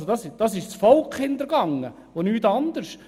Das ist das Volk hintergehen und nichts Anderes.